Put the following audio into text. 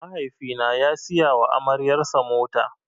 Mahaifi na ya siya wa amaryar sa mota.